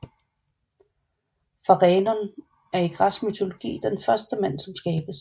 Pharenon er i græsk mytologi den første mand som skabes